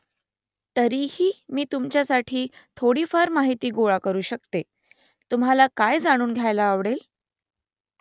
तरीही मी तुमच्यासाठी थोडीफार माहिती गोळा करू शकते . तुम्हाला काय जाणून घ्यायला आवडेल ?